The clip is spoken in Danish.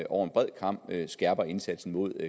over en bred kam skærper indsatsen mod